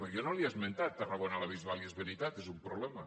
perquè jo no li he esmentat tarragona la bisbal i és veritat que és un problema